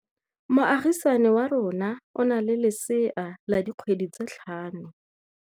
Moagisane wa rona o na le lesea la dikgwedi tse tlhano.